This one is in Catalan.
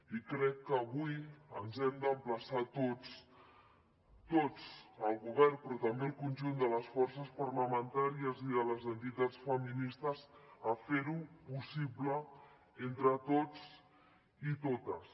i crec que avui ens hem d’emplaçar tots tots el govern però també el conjunt de les forces parlamentàries i de les entitats feministes a fer ho possible entre tots i totes